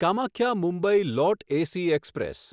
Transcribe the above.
કામાખ્યા મુંબઈ લોટ AC express